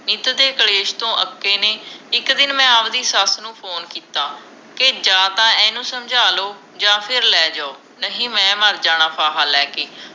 ਨਿੱਤ ਦੇ ਕਲੇਸ਼ ਤੋਂ ਅਕੇ ਨੇ ਇਕ ਦਿਨ ਮੈਂ ਆਵਦੀ ਸੱਸ ਨੂੰ ਫੋਨ ਕੀਤਾ ਕੇ ਜਾਂ ਤਾਂ ਇਹਨੂੰ ਸਮਝਾ ਲੋ ਤੇ ਯਾ ਫਿਰ ਲੈ ਜੋ ਨਹੀਂ ਮੈਂ ਮਰ ਜਾਣਾ ਫਾਹਾ ਲੈਕੇ